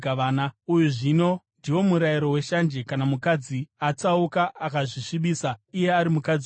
“ ‘Uyu, zvino ndiwo murayiro weshanje kana mukadzi atsauka, akazvisvibisa iye ari mukadzi womunhu,